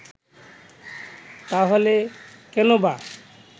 তাহলে কেনবা